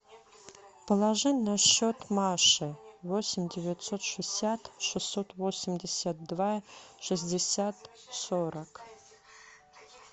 положи на счет маши восемь девятьсот шестьдесят шестьсот восемьдесят два шестьдесят сорок